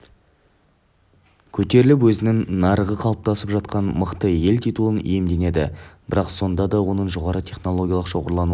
көтеріліп өзінің нарығы қалыптасып жатқан мықты ел титулын иемденді бірақ сонда да оныңжоғары технологиялық шоғырлануы